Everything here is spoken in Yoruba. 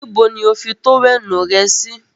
Níbo lo fi tówẹ́ẹ̀nù rẹ sì?